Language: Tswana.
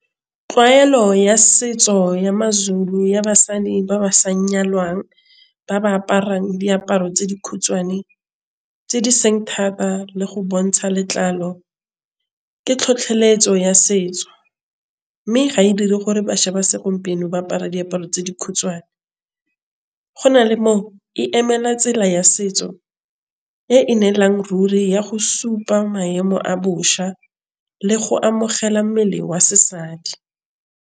Tlwaelo ya setso ya ma-Zulu ya basadi ba ba sa nyalwang ba ba aparang diaparo tse di khutshwane tse di seng thata le go bontsha letlalo. Ke tlhotlheletso ya setso mme ga e dire gore bašwa ba segompieno ba apara diaparo tse di khutshwane go na le e emela tsela ya setso e e neelang ruri ya go supa maemo a bošwa le go amogela mmele wa sesadi.